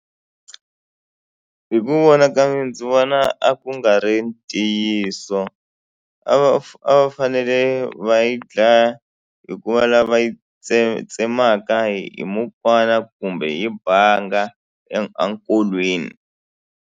Hi ku vona ka mina ndzi vona a ku nga ri ntiyiso a va a va fanele va yi dlaya hi ku va lava yi tsemaka hi mukwana kumbe hi banga enkolweni.